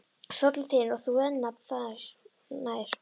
Stóllinn þinn og þú renna nær.